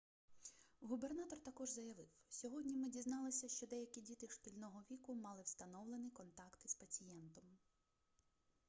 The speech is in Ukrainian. губернатор також заявив сьогодні ми дізналися що деякі діти шкільного віку мали встановлений контакт із пацієнтом